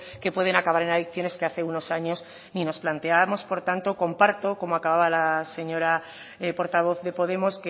que pueden acabar en adicciones que hace unos años ni nos planteábamos por tanto comparto como acababa la señora portavoz de podemos